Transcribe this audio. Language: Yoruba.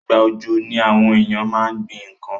Ìgbà òjò ni àwon éyàn ma n gbín nkan